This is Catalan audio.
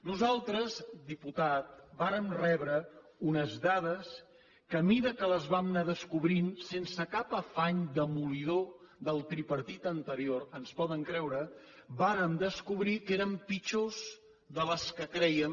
nosaltres diputat vàrem rebre unes dades que a mesura que les vam anar descobrint sense cap afany demolidor del tripartit anterior ens poden creure vàrem descobrir que eren pitjors que les que crèiem